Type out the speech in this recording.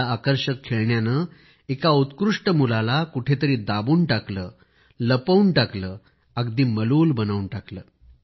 त्या आकर्षक खेळण्याने एका उत्कृष्ट मुलाला कुठंतरी दाबून टाकलं लपवून टाकलं अगदी मलूल बनवून टाकलं